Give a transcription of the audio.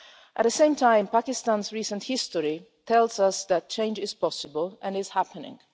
At the same time, Pakistan's recent history tells us that change is possible and is happening.